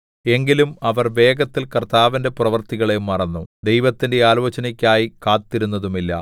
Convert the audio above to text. എങ്കിലും അവർ വേഗത്തിൽ കർത്താവിന്റെ പ്രവൃത്തികളെ മറന്നു ദൈവത്തിന്റെ ആലോചനയ്ക്കായി കാത്തിരുന്നതുമില്ല